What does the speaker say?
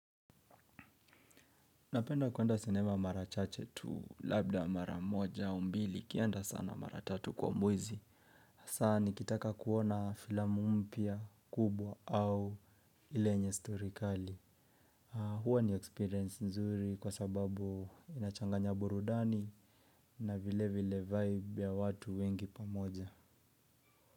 Napenda kuenda cinema mara chache tu labda mara moja au mbili ikienda sana mara tatu kwa mwezi asaa nikitaka kuona filamu mpya kubwa au ile yenye stori kali. Hua ni experience nzuri kwa sababu inachanganya burudani na vile vile vibe ya watu wengi pamoja.